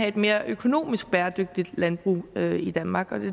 et mere økonomisk bæredygtigt landbrug i danmark